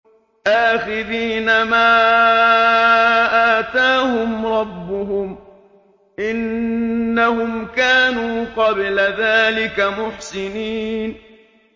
آخِذِينَ مَا آتَاهُمْ رَبُّهُمْ ۚ إِنَّهُمْ كَانُوا قَبْلَ ذَٰلِكَ مُحْسِنِينَ